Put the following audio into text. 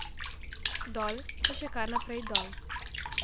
Dol in še kar naprej dol.